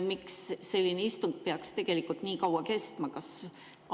Miks selline istung peaks tegelikult nii kaua kestma?